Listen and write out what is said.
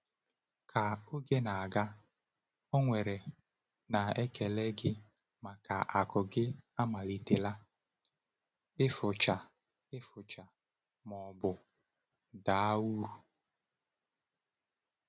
Ka oge na-aga, ọ̀ nwere na ekele gị maka akụ gị amalitela ịfụcha ịfụcha ma ọ bụ daa uru?